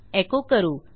एको करू